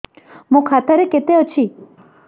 ମୋ ଖାତା ରେ କେତେ ଅଛି